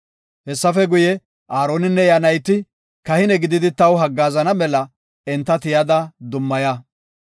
“Hessafe guye, Aaroninne iya nayti kahine gididi taw haggaazana mela enta tiyada dummaya.